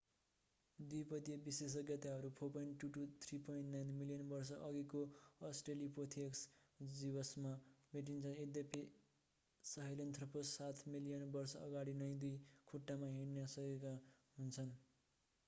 द्विपदीय विशेषज्ञताहरू 4.2-3.9 मिलियन वर्ष अघिको अस्ट्रेलोपिथेकस जीवावशेषमा भेटिन्छन् यद्यपि सहेलेन्थ्रोपस सात मिलियन वर्ष अगाडि नै दुई खुट्टामा हिँडेका हुन सक्दछन्।